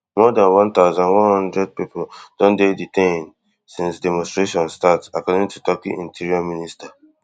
more dan one thousand, one hundred pipo don dey detained since di demonstrations begin according to turkey interior minister